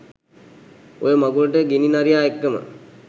ඔය මඟුලට ගිනි නරියා එක්කම